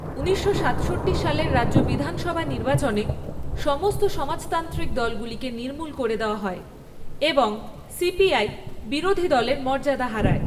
ঊনিশশো সাতষট্টি সালের রাজ্য বিধানসভা নির্বাচনে, সমস্ত সমাজতান্ত্রিক দলগুলিকে নির্মূল করে দেওয়া হয় এবং সিপিআই বিরোধী দলের মর্যাদা হারায়।